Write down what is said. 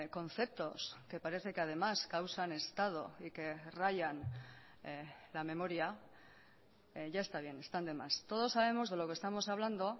conceptos que parece que además causan estado y que rayan la memoria ya está bien están de más todos sabemos de lo que estamos hablando